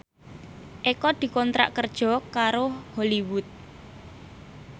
Eko dikontrak kerja karo Hollywood